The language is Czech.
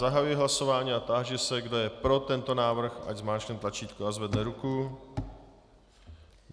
Zahajuji hlasování a táži se, kdo je pro tento návrh, ať zmáčkne tlačítko a zvedne ruku.